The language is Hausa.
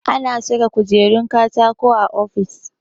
Ana saka kujerun katako a ofis